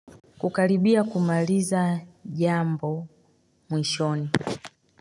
Kukaribia kumaliza jambo mwishoni.